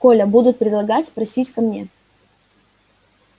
коля будут предлагать просись ко мне